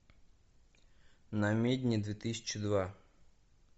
намедни две тысячи два